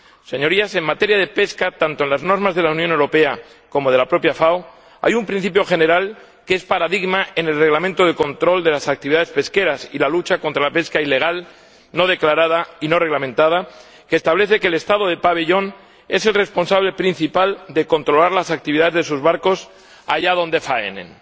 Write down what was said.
Señorías, en materia de pesca tanto en las normas de la Unión Europea como en las de la propia FAO hay un principio general que es paradigma en el Reglamento de control de las actividades pesqueras y la lucha contra la pesca ilegal, no declarada y no reglamentada, que establece que el Estado del pabellón es el responsable principal de controlar las actividades de sus barcos allá donde faenen.